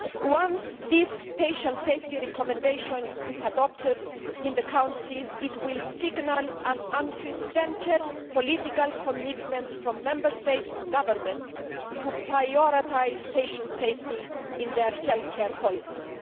Once this patient safety recommendation is adopted in the Council, it will signal an unprecedented political commitment from Member State governments to prioritise patient safety in their health care policies.